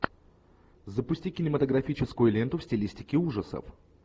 запусти кинематографическую ленту в стилистике ужасов